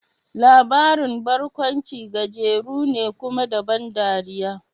Labarin barkaunci gajeru ne, kuma da ban dariya.